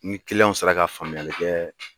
Ni kiliyanw sera ka faamuyali kɛ.